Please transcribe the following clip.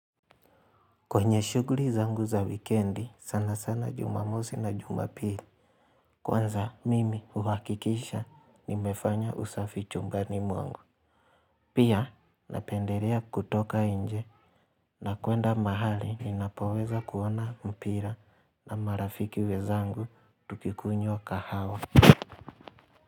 Kwenye shuguri zangu za wikendi sana sana jumamosi na jumapili Kwanza mimi uhakikisha nimefanya usafi chumbani mwangu Pia napenderea kutoka inje na kuenda mahali ninapoweza kuona mpira na marafiki wezangu tukikunywa kahawa.